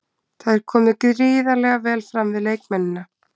Það er komið gríðarlega vel fram við leikmennina.